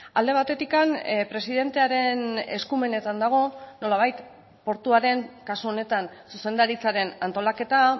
alde batetik presidentearen eskumenetan dago nolabait portuaren kasu honetan zuzendaritzaren antolaketa